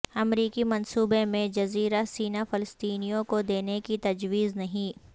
امریکی منصوبہ میں جزیرہ سینا فلسطینیوں کو دینے کی تجویز نہیں